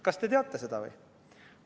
Kas te teate seda või?